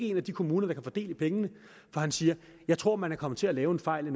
i en af de kommuner der kan få del i pengene for han siger jeg tror man er kommet til at lave en fejl i